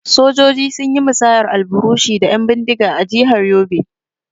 Sojoji sun yi musayar alburushi da 'yan bindiga a jihar Yobe.